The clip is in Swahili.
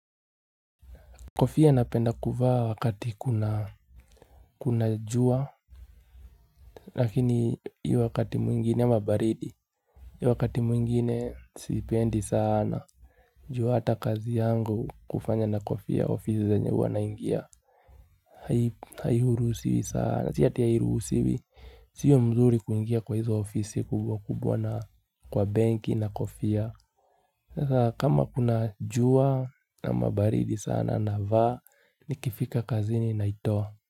Kofia napenda kuvaa wakati kuna jua Lakini hiyo wakati mwingine wa baridi, hiyo wakati mwingine sipendi sana. Juu hata kazi yangu hufanya na kofia ofisi zenye huwa naingia. Hairuhusiwi sana. Si ati hairuhusiwi. Sio mzuri kuingia kwa hizo ofisi kubwa kubwa na kwa benki na kofia. Sasa kama kuna jua ama baridi sana navaa Nikifika kazi ninaitoa.